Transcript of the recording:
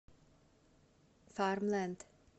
фармленд